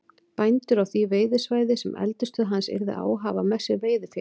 Bændur á því veiðisvæði, sem eldisstöð hans yrði á, hafa með sér veiðifélag